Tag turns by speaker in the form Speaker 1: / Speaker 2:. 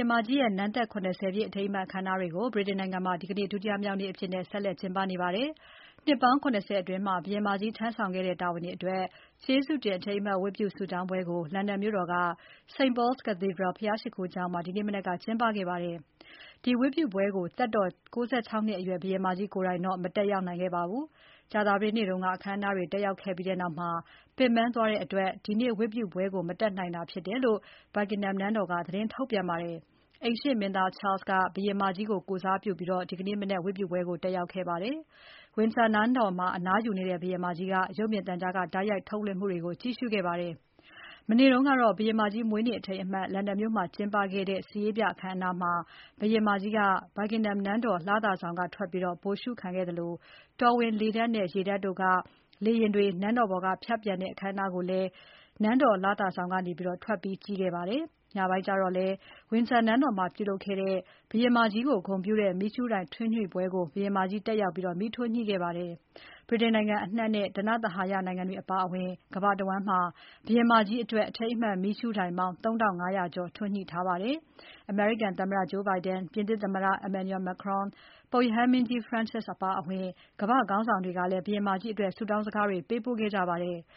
Speaker 1: င်မကြီးရဲ့ နန်းသက် ၇၀ ပြည့်အထိမ်းအမှတ်အခမ်းအနားတွေကို ဗြိတိန်နိုင်ငံမှာ ဒီနေ့ ဒုတိယမြောက်နေ့အဖြစ် ကျင်းပနေပါတယ်။ နှစ်ပေါင်း ၇၀ အတွင်း ဘုရင်မကြီးထမ်းဆောင်ခဲ့တဲ့တာဝန်တွေအတွက် ကျေးဇူးတင် အထိမ်းအမှတ်ဝတ်ပြုဆုတောင်းပွဲကို လန်ဒန်မြို့တော်က St. Paul's Cathedral ဘုရားရှိခိုကျောင်းမှာ ဒီမနက်က ကျင်းပခဲ့ပါတယ်။ ဒီဝတ်ပြုပွဲကို သက်တော် ၉၆ နှစ်အရွယ် ဘုရင်မကြီးကိုယ်တိုင်တော့ မတက်ရောက်ခဲ့ပါဘူး။ ကြာသပတေးနေ့က အခမ်းအနားတွေ တက်ရောက်ခဲ့ပြီးနောက် ပင်ပန်းသွားတဲ့အတွက် ဒီနေ့ဝတ်ပြုပွဲကို မတက်တာဖြစ်တယ်လို့ Buckingham နန်းတော်က သတင်းထုတ်ပြန်ပါတယ်။ အိမ်ရှေ့မင်းသား Charles က ဘုရင်မကြီးကိုကိုယ်စားပြုပြီး ဝတ်ပြုပွဲကို တက်ရောက်ခဲ့ပါတယ်။ Windsor နန်းတော်မှာ အနားယူနေတဲ့ ဘုရင်မကြီးက ရုပ်မြင်သံကြားကတိုက်ရိုက်ထုတ်လွှင့်မှုတွေကို ကြည့်ရှုခဲ့ပါတယ်။ မနေ့တုန်းကတော့ ဘုရင်မကြီးမွေးနေ့အထိမ်းအမှတ် လန်ဒန်မြို့မှာ ကျင်းပခဲ့တဲ့ စစ်ရေးပြအခမ်းအနားမှာ ဘုရင်မကြီးက Buckingham နန်းတော် လသာဆောင်ကထွက်ပြီး ဗိုလ်ရှုခံခဲ့သလို တော်ဝင် လေတပ်နဲ့ ရေတပ်တို့က လေယာဉ်တွေ နန်းတော်ပေါ်က ဖြတ်ပျံတဲ့ အခမ်းအနားကိုလဲ နန်းတော်လသာဆောင်ကနေ ထွက်ပြီးကြည့်ခဲ့ပါတယ်။ ညပိုင်းမှာလည်း Windsor နန်းတော်မှာပြုလုပ်ခဲ့တဲ့ ဘုရင်မကြီးကို ဂုဏ်ပြုတဲ့ မီးရှုးတိုင်ထွန်းညှိပွဲကို ဘုရင်မကြီးတက်ရောက် မီးထွန်းညှိခဲ့ပါတယ်။ ဗြိတိန်နိုင်ငံအနှံ့နဲ့ ဓနဿဟာယနိုင်ငံတွေအပါအဝင် ကမ္ဘာတဝန်းမှာ ဘုရင်မကြီးအတွက် အထိမ်းအမှတ်မီးရှူးတိုင်ပေါင်း ၃ ထောင့် ၅ ရာကျော် ထွန်းညှိထားပါတယ်။ အမေရိကန်သမ္မတ Joe Biden၊ ပြင်သစ်သမ္မတ Emmanuel Macron၊ ပုပ်ရဟန်းမင်းကြီး Pope Francis အပါအဝင် ကမ္ဘာ့ခေါင်းဆောင်တွေကလည်း ဘုရင်မကြီးအတွက် ဆုတောင်းစကားတွေ ပေးပို့ခဲ့ကြပါတယ်။